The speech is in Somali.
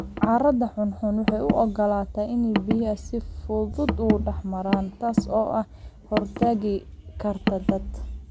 Carrada xunxun waxay u ogolaataa in biyuhu si fudud u dhex maraan, taas oo ka hortagi karta daad.